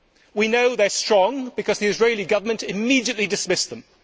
We know they are strong, because the Israeli Government immediately dismissed them.